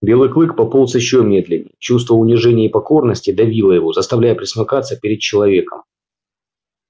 белый клык пополз ещё медленнее чувство унижения и покорности давило его заставляя пресмыкаться перед человеком